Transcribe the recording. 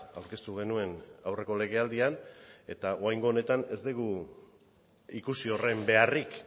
aurkeztu genuen aurreko legealdian eta oraingo honetan ez dugu ikusi horren beharrik